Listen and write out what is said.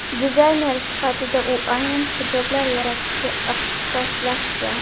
Dizayner sifatida u aynan hijoblar yaratishga ixtisoslashgan.